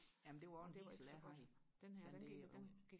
jamen det var også en diesel jeg har den der